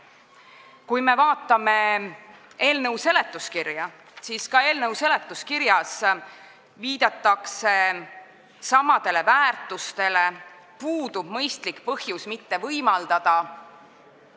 Kui me vaatame eelnõu seletuskirja, siis ka seal viidatakse samadele väärtustele ja puudub mõistlik põhjus, miks topeltkodakondsust ei võimaldata.